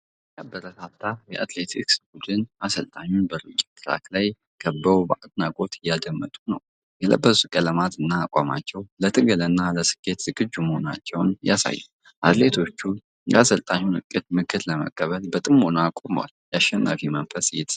የሚያበረታታ! የአትሌቲክስ ቡድን አሰልጣኙን በሩጫ ትራክ ላይ ከበው በአድናቆት እያዳመጡ ነው። የለበሱት ቀለማት እና አቋማቸው ለትግል እና ለስኬት ዝግጁ መሆናቸውን ያሳያል። አትሌቶቹ የአሰልጣኙን እቅድና ምክር ለመቀበል በጥሞና ቆመዋል። የአሸናፊነት መንፈስ እየተሰማ ነው።